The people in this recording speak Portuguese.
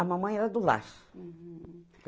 A mamãe era do laço. Uhum